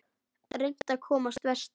Reynt að komast vestur